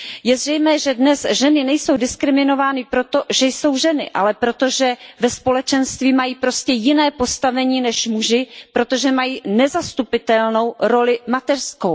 Je zřejmé, že dnes ženy nejsou diskriminovány proto, že jsou ženy, ale proto, že ve společenství mají prostě jiné postavení než muži, protože mají nezastupitelnou roli mateřskou.